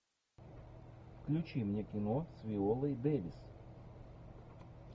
включи мне кино с виолой дэвис